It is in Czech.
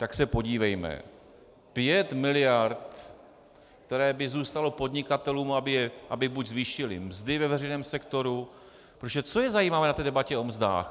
Tak se podívejme - 5 miliard, které by zůstaly podnikatelům, aby buď zvýšili mzdy ve veřejném sektoru - protože co je zajímavé na té debatě o mzdách?